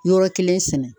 Yɔrɔ kelen sɛnɛ